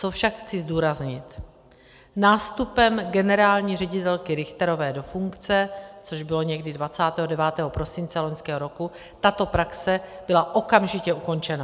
Co však chci zdůraznit: nástupem generální ředitelky Richterové do funkce, což bylo někdy 29. prosince loňského roku, tato praxe byla okamžitě ukončena.